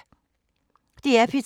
DR P3